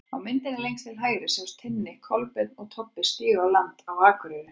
Á myndinni lengst til hægri sjást Tinni, Kolbeinn og Tobbi stíga á land á Akureyri.